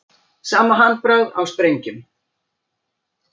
Sama handbragð á sprengjum